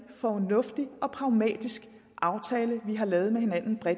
fornuftig og pragmatisk aftale vi har lavet bredt med hinanden